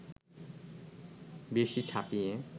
বেশি ছাপিয়ে